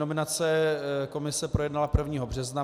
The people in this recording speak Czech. Nominace komise projednala 1. března.